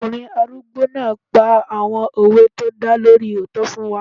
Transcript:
Ọkùnrin arúgbó náà pa àwọn òwe tó dá lórí òótọ́ fún wa